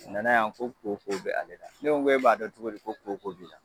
A na na yan ko koko bɛ ale la ne ko e b'a dɔn cogodi ko koko b'i la.